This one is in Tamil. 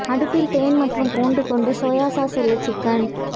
அடுப்பில் தேன் மற்றும் பூண்டு கொண்டு சோயா சாஸ் உள்ள சிக்கன்